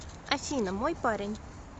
афина мой парень